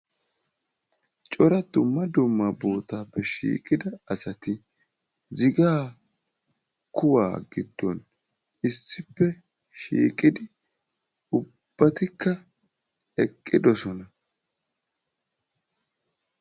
Cora dumma dumma boottaappe shiiqida asati zigaa kuwaa giddon issippe shiiqidi ubbatikka eqqidosona.